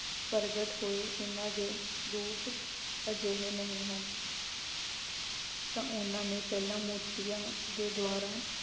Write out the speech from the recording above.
ਪ੍ਰਗਟ ਹੋਏ ਇਹਨਾਂ ਦੇ ਰੂਪ ਅਜਿਹੇ ਨਹੀਂ ਹਨ ਤਾਂ ਉਹਨਾਂ ਨੇ ਪਹਿਲਾਂ ਮੋਤੀਆਂ ਦੇ ਦੁਆਰਾ